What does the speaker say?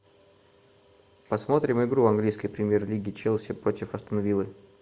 посмотрим игру английской премьер лиги челси против астон виллы